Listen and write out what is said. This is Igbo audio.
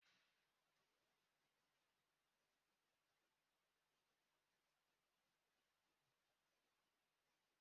Kpachara anya na ị na-eri ofe ogbono, ọ na-agbatị agbatị ma nwee ike imetọ uwe gị